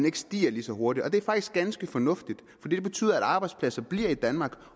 ikke stiger lige så hurtigt og det er faktisk ganske fornuftigt fordi det betyder at arbejdspladser bliver i danmark